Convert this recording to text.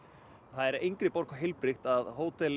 er engri borg heilbrigt að